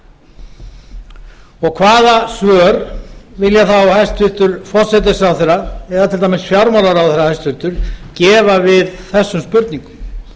á landi hvaða svör vilja þá hæstvirtur forsætisráðherra eða til dæmis hæstvirtur fjármálaráðherra gefa við þessum spurningum